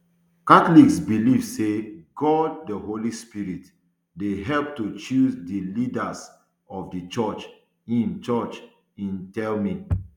catholics believe say god di holy spirit dey help to choose di leaders of di church im church im tell me